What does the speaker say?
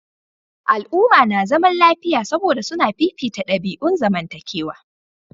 Al'umma na zaman lafiya saboda suna fifita dabi'un zamantakewa.